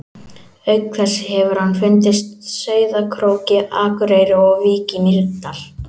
Auk þess hefur hann fundist Sauðárkróki, Akureyri og í Vík í Mýrdal.